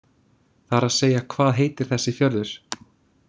Það er að segja hvað heitir þessi fjörður.